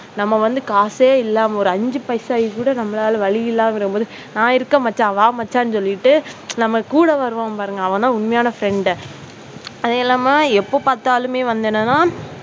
நம்ம வந்து காசே இல்ல ஒரு அஞ்சு பைசா கூட நம்மளால வழியில்லாம இருக்கும் போது நான் இருக்கிறேன், மச்சான் வா மச்சான் சொல்லிட்டு நம்ம கூட வருவான் பாருங்க அவன் தான் உண்மையான friend. அது இல்லாம எப்ப பார்த்தாலும் வந்து என்னன்னா